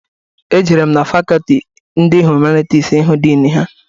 Ejere m na fakọltị ndị Humanitis ihu din ha.